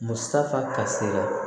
Musaka kasira